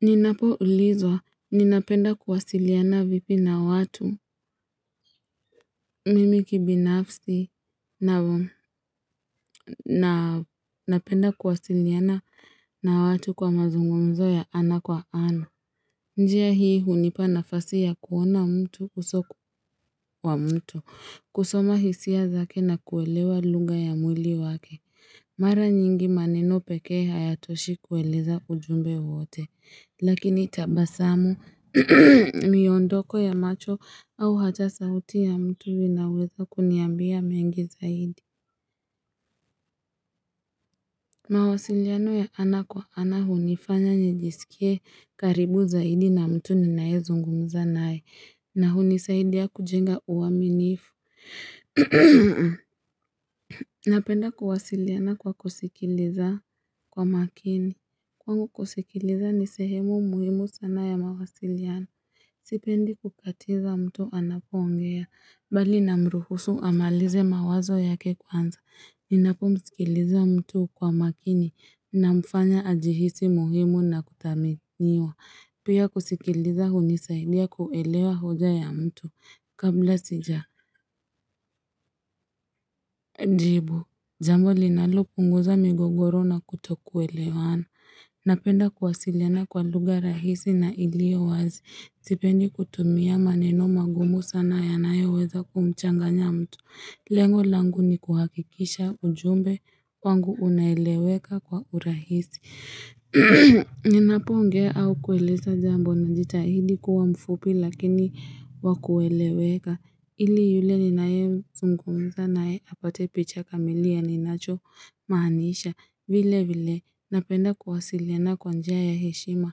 Ninapo ulizwa, ninapenda kuwasiliana vipi na watu mimi kibinafsi? Napenda kuwasiliana na watu kwa mazungumzo ya ana kwa ana. Njia hii hunipa nafasi ya kuona mtu uso kwa mtu, kusoma hisia zake na kuelewa lugha ya mwili wake. Mara nyingi maneni pekee hayatoshi kueleza ujumbe wote, lakini tabasamu miondoko ya macho au hata sauti ya mtu inaweza kuniambia mengi zaidi. Mawasiliano ya ana kwa ana hunifanya nijisikie karibu zaidi na mtu ninayezungumza naye, na hunisaidia kujenga uaminifu. Napenda kuwasiliana kwa kusikiliza kwa makini. Kwangu kusikiliza ni sehemu muhimu sana ya mawasiliano Sipendi kukatiza mtu anapoongea. Mbali namruhusu amalize mawazo yake kwanza. Ninapo msikiliza mtu kwa makini namfanya ajihisi muhimu na kudhaminiwa. Pia kusikiliza hunisaidia kuelewa hoja ya mtu kabla sija jibu. Jambo linalo punguza migogoro na kuto kuelewana. Napenda kuwasiliana kwa lugha rahisi na ilio wazi. Sipendi kutumia maneno magumu sana yanayoweza kumchanganya mtu. Lengo langu ni kuhakikisha ujumbe kwangu unaeleweka kwa urahisi. Ninapongea au kueleza jambo najitahidi kuwa mfupi lakini wa kueleweka. Ili yule ninayezungumza naye apate picha kamili ya ninacho maanisha. Vile vile napenda kuwasiliana kwa njia ya heshima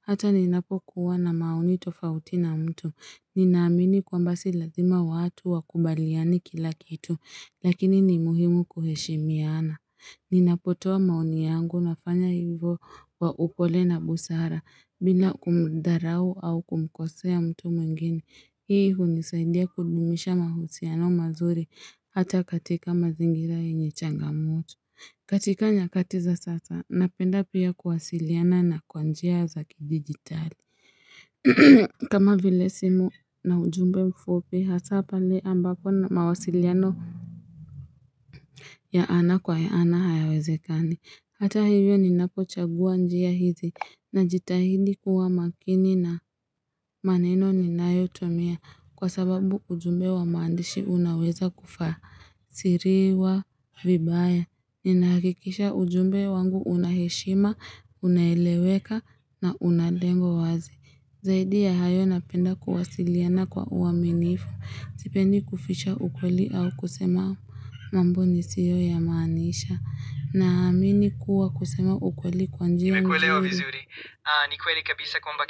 hata ninapokuwa na maoni tofauti na mtu. Ninaamini kwamba si lazima watu wakubaliane kila kitu lakini ni muhimu kuheshimiana. Ninapotoa maoni yangu nafanya hivo wa upole na busara bila kumudharau au kumkosea mtu mwingine. Hii hunisaindia kudumisha mahusiano mazuri hata katika mazingira yenye changamoto. Katika nyakati za sasa, napenda pia kuwasiliana kwa njia za kidijitali. Kama vile simu na ujumbe mfupi, hasa pale ambapo mawasiliano ya ana kwa ana hayawezekani. Hata hivyo ninapochagua njia hizi, najitahidi kuwa makini na maneno ninayo tumia. Kwa sababu ujumbe wa maandishi unaweza kutafsiriwa vibaya. Ninahakikisha ujumbe wangu unaheshima, unaeleweka na una lengo wazi. Zaidi ya hayo napenda kuwasiliana kwa uaminifu. Sipendi kuficha ukweli au kusema mambo nisioyamaanisha. Na amini kuwa kusema ukweli kwa njia nzuri. Nikweli kabisa kwamba.